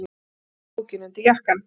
Hún ýtti bókinni undir jakkann.